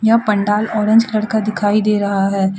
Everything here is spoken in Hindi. यह पंडाल ऑरेंज कलर का दिखाई दे रहा है।